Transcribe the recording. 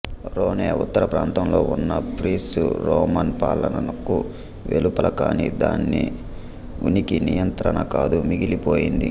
Rhone ఉత్తర ప్రాంతంలో ఉన్న ఫ్రిస్సి రోమన్ పాలనకు వెలుపల కానీ దాని ఉనికి నియంత్రణ కాదు మిగిలి పోయింది